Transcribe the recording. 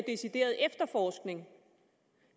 decideret efterforskning